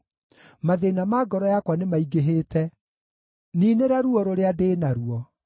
Mathĩĩna ma ngoro yakwa nĩmaingĩhĩte; niinĩra ruo rũrĩa ndĩ naruo.